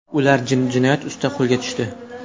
Ular jinoyat ustida qo‘lga tushdi.